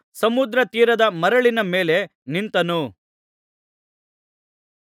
ಸಮುದ್ರ ತೀರದ ಮರಳಿನ ಮೇಲೆ ನಿಂತನು